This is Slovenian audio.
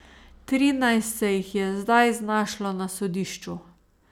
Trinajst se jih je zdaj znašlo na sodišču.